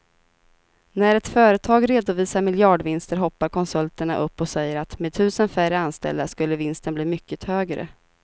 När ett företag redovisar miljardvinster hoppar konsulterna upp och säger att med tusen färre anställda skulle vinsten bli mycket högre.